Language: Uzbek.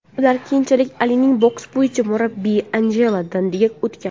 Ular keyinchalik Alining boks bo‘yicha murabbiyi Anjelo Dandiga o‘tgan.